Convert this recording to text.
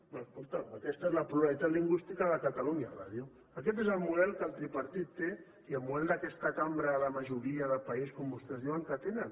doncs escolta’m aquesta és la pluralitat lingüística de catalunya ràdio aquest és el model que el tripartit té i el model d’aquesta cambra de majoria de país com vostès diuen que tenen